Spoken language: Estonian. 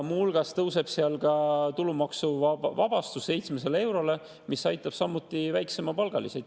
Muu hulgas tõuseb tulumaksuvabastus 700 eurole, mis aitab samuti väiksemapalgalisi.